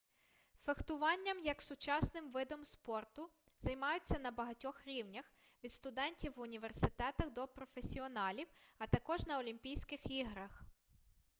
фехтуванням як сучасним видом спорту займаються на багатьох рівнях від студентів в університетах до професіоналів а також на олімпійських іграх